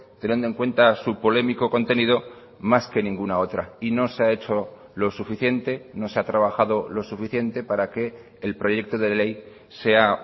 teniendo en cuenta su polémico contenido más que ninguna otra y no se ha hecho lo suficiente no se ha trabajado lo suficiente para que el proyecto de ley sea